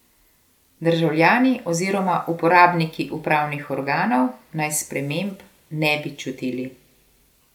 Državljani oziroma uporabniki upravnih organov naj sprememb ne bi čutili.